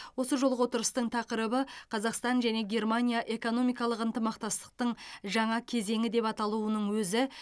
осы жолғы отырыстың тақырыбы қазақстан және германия экономикалық ынтымақтастықтың жаңа кезеңі деп аталуының өзі